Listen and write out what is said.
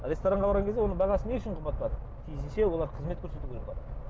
ресторанға барған кезде оның бағасы не үшін қымбаттады тиісінше олар қызмет көрсету керек па